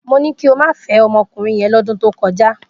Mo ní kí o má fẹ́ ọmọkùnrin yẹn lọ́dún tó kọjá!